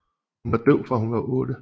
Hun var døv fra hun var otte